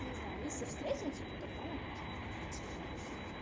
ну не знаю если встретимся то тогда могу тебе купить а